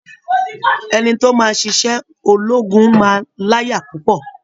Ẹni tó máa ṣiṣẹ́ ológun máa láyà púpọ̀